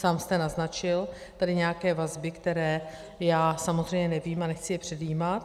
Sám jste naznačil tady nějaké vazby, které já samozřejmě nevím a nechci je předjímat.